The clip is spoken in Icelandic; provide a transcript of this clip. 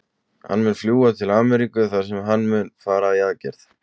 Hann mun því fljúga til Ameríku þar sem hann mun fara í aðgerðina.